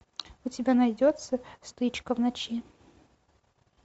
у тебя найдется стычка в ночи